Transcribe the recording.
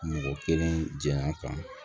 Mɔgɔ kelen jɛya kan